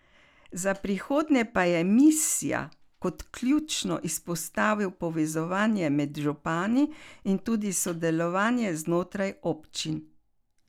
Za prihodnje pa je Misja kot ključno izpostavil povezovanje med župani in tudi sodelovanje znotraj občin.